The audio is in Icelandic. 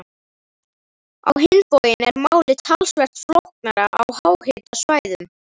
Á hinn bóginn er málið talsvert flóknara á háhitasvæðum.